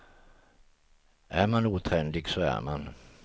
Är man otrendig så är man.